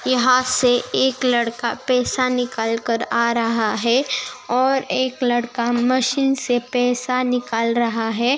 यहाँ से एक लड़का पैसा निकल कर आ रहा है और एक लड़का मशीन से पैसा निकल रहा है।